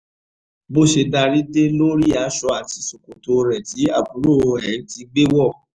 bó ṣe darí dé ló rí aṣọ àti ṣòkòtò rẹ̀ tí àbúrò ẹ̀ ti gbé wọ̀